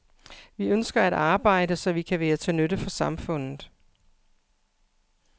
Vi ønsker at arbejde, så vi kan være til nytte for samfundet.